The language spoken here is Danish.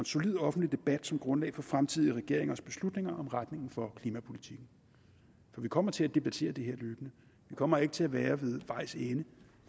solid offentlig debat som grundlag for fremtidige regeringers beslutninger om retningen for klimapolitikken for vi kommer til at debattere det her løbende vi kommer ikke til at være ved vejs ende